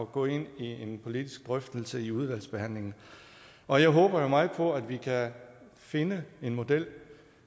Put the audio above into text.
gå ind i en politisk drøftelse i udvalgsbehandlingen og jeg håber meget på at vi kan finde en model